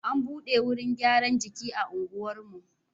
An buɗe wurin gyaran jiki a unguwarmu.